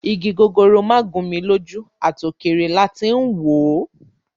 Igi gogoro má gún mi lójú, à tò kèrè la tí ń wò ó